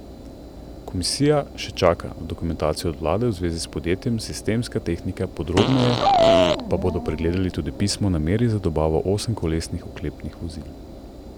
Komisija še čaka na dokumentacijo od vlade v zvezi s podjetjem Sistemska tehnika, podrobneje pa bodo pregledali tudi pismo o nameri za dobavo osemkolesnih oklepnih vozil.